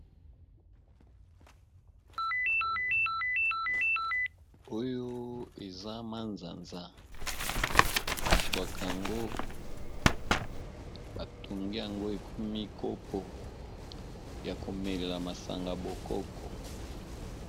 Oyo eza manzanza bazwaka yango batongi yango ekomi kopo ya komelela masanga bokoko.